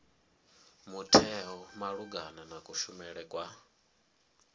mutheo malugana na kushumele kwa